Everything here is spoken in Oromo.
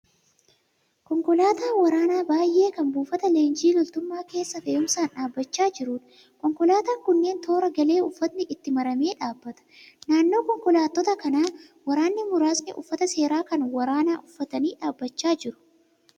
Konkolaataa waraanaa baay'ee kan buufata leenjii loltummaa keessa fe'umsaan dhaabbachaa jiruudha. Konkolaataan kunneen toora galee uffatni itti maramee dhaabbata. Naannoo konkolaattota kanaa waraanni muraasni uffata seeraa kan waraanaa uffatanii dhaabbachaa jiru.